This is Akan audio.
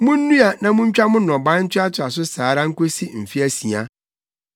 “Munnua na muntwa no nnɔbae ntoatoa so saa ara nkosi mfe asia,